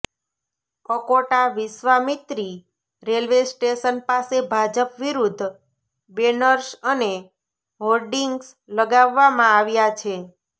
Akota Vishwamitri railway station પાસે ભાજપ વિરુદ્ધ banners અને હોર્ડિંગ્સ લગાવવામાં આવ્યા છે